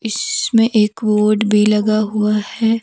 इसमें एक बोर्ड भी लगा हुआ है।